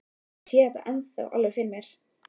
Ég sé þetta ennþá alveg fyrir mér.